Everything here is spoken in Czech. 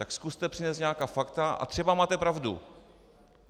Tak zkuste přinést nějaká fakta a třeba máte pravdu.